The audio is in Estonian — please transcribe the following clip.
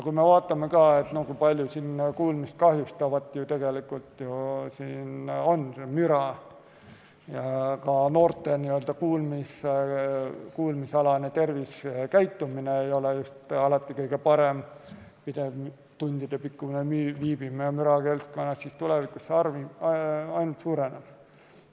Kui me vaatame, kui palju on kuulmist kahjustavat müra ja seda, et noorte kuulmisalane tervisekäitumine ei ole alati kõige parem, pidev tundidepikkune viibimine mürakeskkonnas, siis teame, et tulevikus see ainult suureneb.